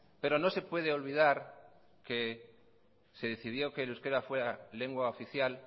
pero no se puede olvidar que se decidió que el euskera fuera lengua oficial